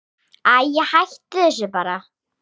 Æi, hættu þessu bara.